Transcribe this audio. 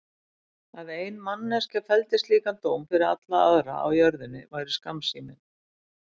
Að ein manneskja felldi slíkan dóm fyrir alla aðra á jörðinni væri skammsýni.